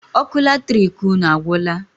Ọkụ latrik unu agwụla?